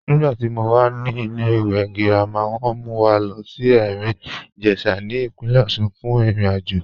Nígbàtí mó wà ní ìlẹ̀-ìwé girama, wọn mú wà lọ sí Erin-Ijesha ní ipìnlẹ̀ Òṣun fún ìrìn-àjọ